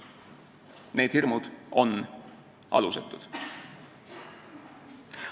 Need hirmud on alusetud.